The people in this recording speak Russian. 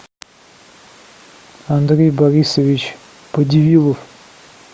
андрей борисович подивилов